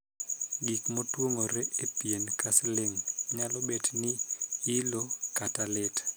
Gik motuong'ore e pien ka siling nyalo bet ni ilo kata lit.